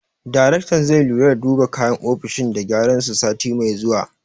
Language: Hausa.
Daraktan zai lura da duba kayan ofishin da gyaran su, sati mai zuwa.